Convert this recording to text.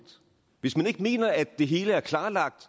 hvis man ikke mener at det hele er klarlagt